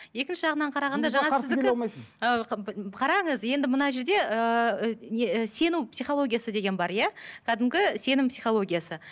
екінші жағынан қарағанда қараңыз енді мына жерде ыыы не сену психологиясы деген бар иә кәдімгі сенім психологиясы